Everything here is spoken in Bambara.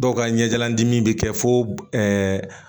Dɔw ka ɲɛjalandimi bɛ kɛ fo ɛɛ